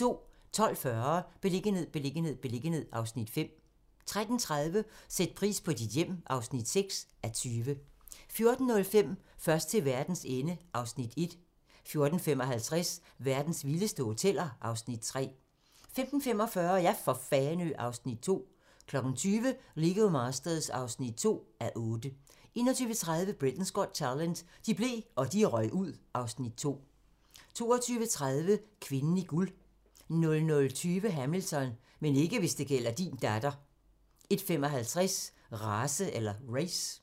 12:40: Beliggenhed, beliggenhed, beliggenhed (Afs. 5) 13:30: Sæt pris på dit hjem (6:20) 14:05: Først til verdens ende (Afs. 1) 14:55: Verdens vildeste hoteller (Afs. 3) 15:45: Ja for Fanø (Afs. 2) 20:00: Lego Masters (2:8) 21:30: Britain's Got Talent - de blev, og de røg ud (Afs. 2) 22:30: Kvinden i guld 00:20: Hamilton - men ikke hvis det gælder din datter 01:55: Race